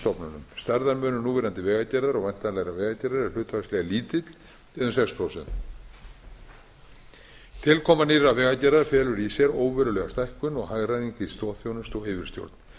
stofnunum stærðarmunur núverandi vegagerðar og væntanlegrar vegagerðar er hlutfallslega lítill eða um sex prósent tilkoma nýrrar vegagerðar felur í sér óverulega stækkun og hagræðingu í stoðþjónustu og yfirstjórn